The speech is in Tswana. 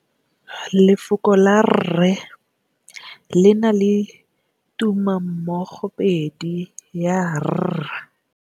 Lefoko la rre le na le tumammogôpedi ya, r.